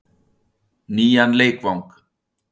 Nýjan leikvang?